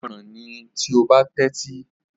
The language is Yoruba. Ìgbọràn ni tí o ba Tẹ́tí